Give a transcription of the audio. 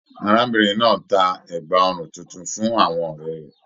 Arábìnrin náà tá ẹgba ọrùn títún fún àwọn ọrẹ rẹ.